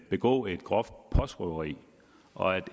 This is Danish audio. begå et groft postrøveri og